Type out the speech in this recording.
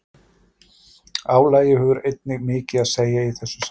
Álagið hefur einnig mikið að segja í þessu sambandi.